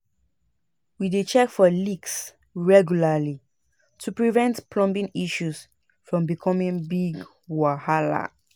We dey check for leaks regularly to prevent plumbing issues from becoming big wahala.